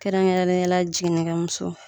Kɛrɛnkɛrɛnnenyala jiginnikɛmuso